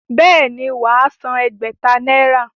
Bẹ́ẹ̀ ni, wà á san ẹgbẹ̀ta náírà.